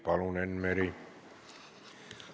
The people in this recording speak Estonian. Palun, Enn Meri!